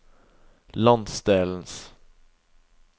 landsdelens